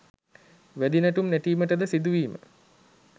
වැදි නැටුම් නැටීමටද සිදුවීම